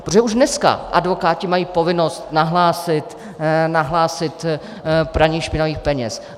Protože už dneska advokáti mají povinnost nahlásit praní špinavých peněz.